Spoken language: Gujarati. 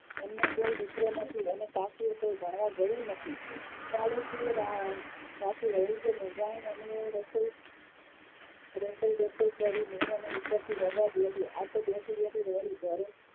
એમને કોઈ દીકરો નથી અને કાશી એ કોઇ ભણવા ગયું નથી પાડોશીએ વાતથી મુંજાણી અને રસોઈ રસોઈ રસોઈ કરી ઉપરથી રડવા બેઠી આતો બેઠી બેઠી રડી